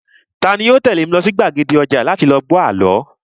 Tani yoo tẹ̀lé mi lọ sí gbàgede ọjà láti lọ gbọ́ àlọ́?